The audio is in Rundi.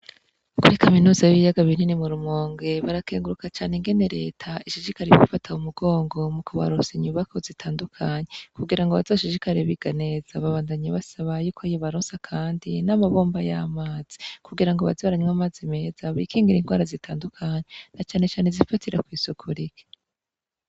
Muri kaminuza y'ibiyaga binini muri comune Rumonge barakenguruka cane ingene Leta ishishikara kubafata mu mugongo mu kubaronsa inyubakwa zitandukanye kugira ngo bazoshishikare biga neza. Babandanya basaba ko yobaronsa kandi n'amabomba y'amazi kugira ngo baze baranwa amazi meza bikingire indwara zitandukanye na cane cane izifatira kw'isuku rike.